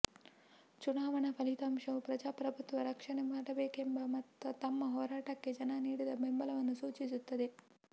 ಚುನಾವಣಾ ಫಲಿತಾಂಶವು ಪ್ರಜಾಪ್ರಭುತ್ವ ರಕ್ಷಣೆ ಮಾಡಬೇಕೆಂಬ ತಮ್ಮ ಹೋರಾಟಕ್ಕೆ ಜನ ನೀಡಿದ ಬೆಂಬಲವನ್ನು ಸೂಚಿಸುತ್ತದೆ